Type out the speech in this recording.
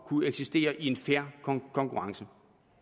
kunne eksistere i en fair konkurrence